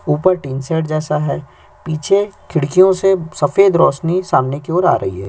ऊपर tin shed जैसा है पीछे खिड़कियों से सफेद रोशनी सामने की ओर आ रही है।